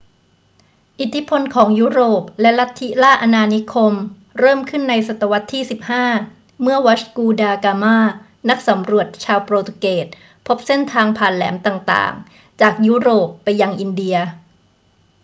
อิทธิพลของยุโรปและลัทธิล่าอาณานิคมเริ่มขึ้นในศตวรรษที่ 15 เมื่อวัชกู ดา กามา นักสำรวจชาวโปรตุเกสพบเส้นทางผ่านแหลมต่าง ๆ จากยุโรปไปยังอินเดีย